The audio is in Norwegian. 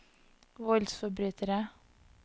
voldsforbrytere